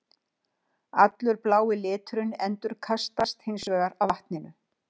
Allur blái liturinn endurkastast hins vegar af vatninu.